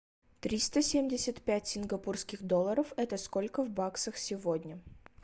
триста семьдесят пять сингапурских долларов это сколько в баксах сегодня